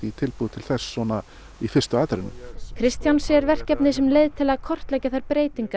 tilbúið til þess í fyrstu atrennu Kristján sér verkefnið sem leið til að kortleggja þær breytingar